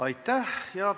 Aitäh!